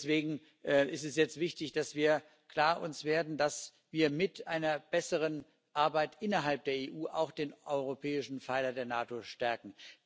Deswegen ist es jetzt wichtig, dass wir uns klar werden, dass wir mit einer besseren Arbeit innerhalb der EU auch den europäischen Pfeiler der NATO stärken.